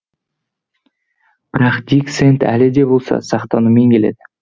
бірақ дик сэнд әлі де болса сақтанумен келеді